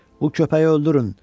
Bu köpəyi öldürün!